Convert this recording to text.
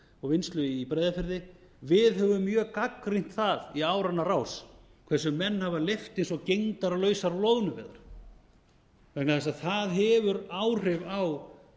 og vinnslu í breiðafirði að við höfum mjög gagnrýnt það í áranna rás hversu menn hafa leyft sér svo gegndarlausar loðnuveiðar vegna þess að það hefur áhrif á